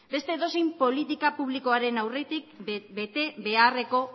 beste edozein politika publikoaren aurretik betebeharreko